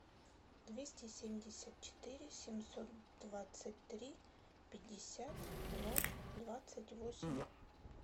двести семьдесят четыре семьсот двадцать три пятьдесят ноль двадцать восемь